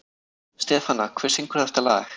Stefana, hver syngur þetta lag?